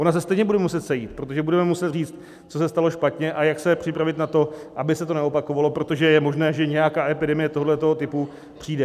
Ona se stejně bude muset sejít, protože budeme muset říct, co se stalo špatně a jak se připravit na to, aby se to neopakovalo, protože je možné, že nějaká epidemie tohoto typu přijde.